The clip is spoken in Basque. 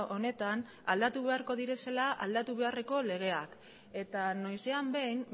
honetan aldatu beharko direzela aldatu beharreko legeak eta noizean behin